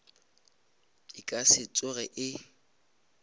e ka se tsoge e